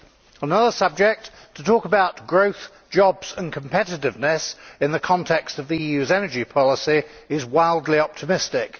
On another subject, to talk about growth, jobs and competitiveness in the context of the EU's energy policy is wildly optimistic.